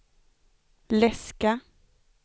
läska